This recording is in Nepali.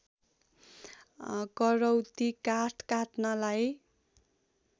करौँती काठ काट्नलाई